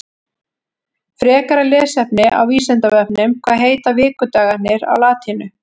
Frekara lesefni á Vísindavefnum Hvað heita vikudagarnir á latínu?